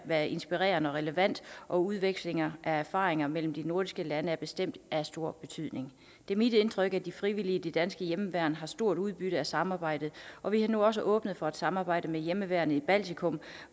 være inspirerende og relevant og udveksling af erfaringer mellem de nordiske lande er bestemt af stor betydning det er mit indtryk at de frivillige i det danske hjemmeværn har stort udbytte af samarbejdet og vi har nu også åbnet for et samarbejde med hjemmeværnet i baltikum